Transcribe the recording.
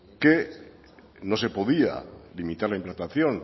que no se podía limitar la implantación